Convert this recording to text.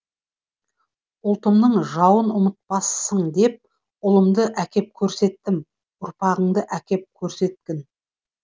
ұлтымның жауын ұмытпасың деп ұлымды әкеп көрсеттім ұрпағынды әкеп көрсеткін